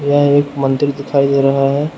यह एक मंदिर दिखाई दे रहा है।